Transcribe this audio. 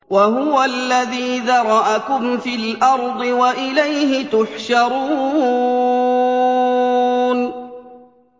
وَهُوَ الَّذِي ذَرَأَكُمْ فِي الْأَرْضِ وَإِلَيْهِ تُحْشَرُونَ